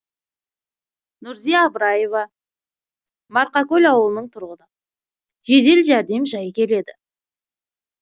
нұрзия абыраева марқакөл ауылының тұрғыны жедел жәрдем жай келеді